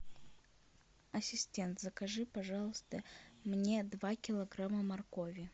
ассистент закажи пожалуйста мне два килограмма моркови